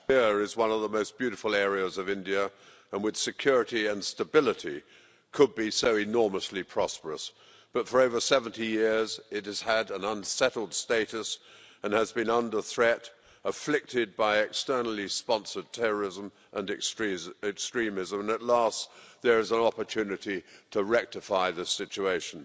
Mr President, Kashmir is one of the most beautiful areas of India and with security and stability could be so enormously prosperous, but for over 70 years it has had an unsettled status and has been under threat, afflicted by externally sponsored terrorism and extremism, and at last there is an opportunity to rectify the situation.